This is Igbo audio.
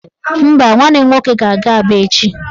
Mba, nwanne m nwoke ga-aga Aba echi